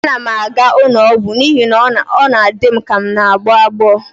Ana m aga ụlọ ọgwụ n'ihi na ọ na-adị m ka m n'agbọ agbọ